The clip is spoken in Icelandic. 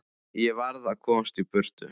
Ég varð að komast í burtu.